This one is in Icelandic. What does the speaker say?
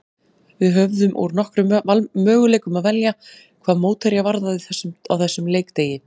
Við höfðum úr nokkrum möguleikum að velja hvað mótherja varðaði á þessum leikdegi.